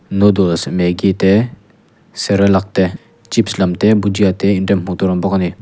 noodles maggie te cerelac te chips lam te bhujiya te inrem hmuh tur a awm bawk a ni.